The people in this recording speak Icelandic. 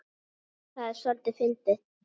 Það er soldið fyndið.